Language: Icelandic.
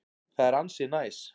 Það er ansi næs.